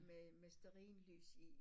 Med med stearinlys i